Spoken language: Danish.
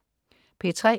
P3: